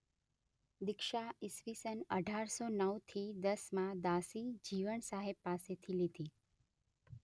દીક્ષા ઇ.સ.અઢારસો નવથી દસમાં દાસી જીવણ સાહેબ પાસેથી લીધી.